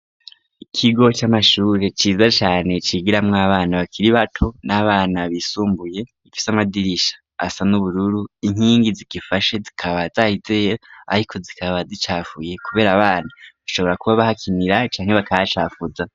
Ikigo c'amashure ciza cane cigiramwo abana bakira bato n'abana bbisumbuye ifise amadirisha asa n'ubururu inkingi zigifashe zikabazahizeya, ariko zikaba zicafuye, kubera abana ashobora kuba bahakinira canke bakacafuza.